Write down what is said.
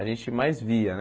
A gente mais via, né?